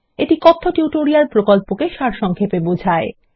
এটি কথ্য টিউটোরিয়াল প্রকল্পকে সারসংক্ষেপে বোঝায়